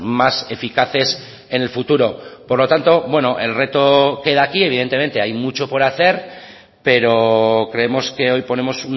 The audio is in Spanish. más eficaces en el futuro por lo tanto bueno el reto queda aquí evidentemente hay mucho por hacer pero creemos que hoy ponemos